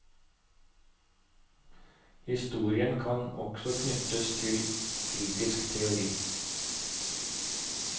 Historien kan også knyttes til kritisk teori.